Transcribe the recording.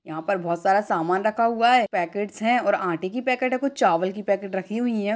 यहाँ पर बहुत सारा सामान रखा हुआ हैं पैकेट्स हैं और आंटे की पैकेट हैं कुछ चावल की पैकेट रखी हुई हैं।